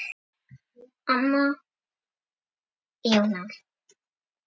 Anna Jóa